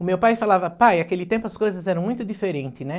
O meu pai falava, pai, aquele tempo as coisas eram muito diferente, né?